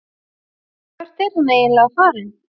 Hvert er hann eiginlega farinn?